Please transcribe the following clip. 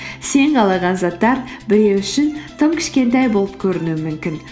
сен қалаған заттар біреу үшін тым кішкентай болып көрінуі мүмкін